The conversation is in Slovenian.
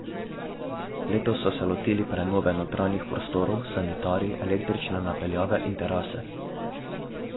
Letos so so se lotili prenove notranjih prostorov, sanitarij, električne napeljave in terase.